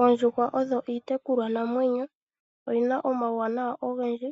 Oondjuhwa odho iitekulwa namwenyo, oyina omauwanawa ogendji.